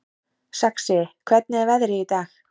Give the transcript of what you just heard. Saxi, hvernig er veðrið í dag?